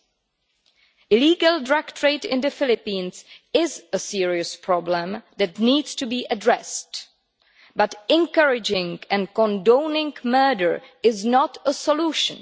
The illegal drug trade in the Philippines is a serious problem that needs to be addressed, but encouraging and condoning murder is not a solution.